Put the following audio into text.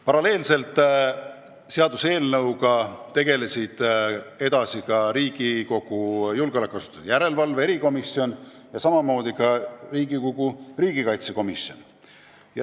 Paralleelselt tegelesid eelnõuga edasi ka Riigikogu julgeolekuasutuste järelevalve erikomisjon ja riigikaitsekomisjon.